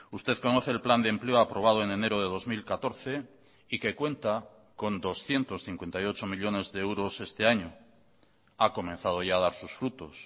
usted conoce el plan de empleo aprobado en enero de dos mil catorce y que cuenta con doscientos cincuenta y ocho millónes de euros este año ha comenzado ya a dar sus frutos